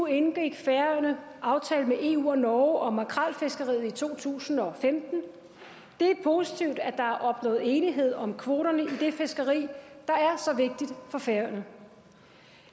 indgik færøerne aftale med eu og norge om makrelfiskeriet i to tusind og femten det er positivt at der er opnået enighed om kvoterne i det fiskeri der er så vigtigt for færøerne